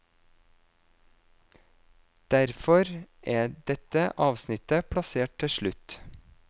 Derfor er dette avsnittet plassert til slutt.